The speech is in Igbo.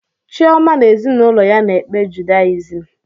Chioma na ezinụlọ ya na-ekpe judayizịm